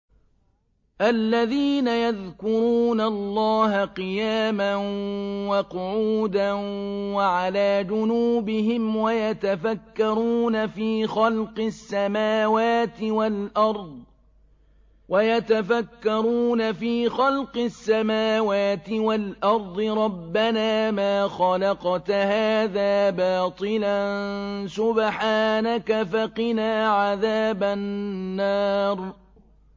الَّذِينَ يَذْكُرُونَ اللَّهَ قِيَامًا وَقُعُودًا وَعَلَىٰ جُنُوبِهِمْ وَيَتَفَكَّرُونَ فِي خَلْقِ السَّمَاوَاتِ وَالْأَرْضِ رَبَّنَا مَا خَلَقْتَ هَٰذَا بَاطِلًا سُبْحَانَكَ فَقِنَا عَذَابَ النَّارِ